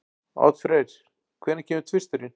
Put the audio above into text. Oddfreyr, hvenær kemur tvisturinn?